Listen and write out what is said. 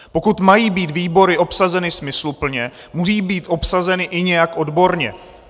Pokud mají být výbory obsazeny smysluplně, musí být obsazeny i nějak odborně.